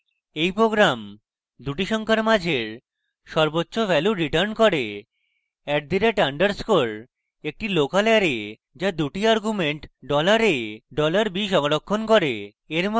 এই program দুটি সংখ্যার মাঝের সর্বোচ্চ value return করে